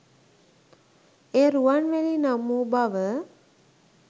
එය රුවන්වැලි නමින් වූ බව